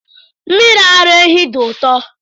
Mmiri ara ehi dị ụtọ.